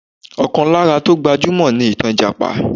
Ọkàn lára tó gbajúmọ̀ ni ìtàn Ìjàpá